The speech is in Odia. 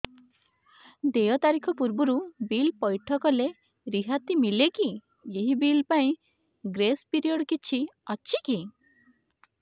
ଦେୟ ତାରିଖ ପୂର୍ବରୁ ବିଲ୍ ପୈଠ କଲେ ରିହାତି ମିଲେକି ଏହି ବିଲ୍ ପାଇଁ ଗ୍ରେସ୍ ପିରିୟଡ଼ କିଛି ଅଛିକି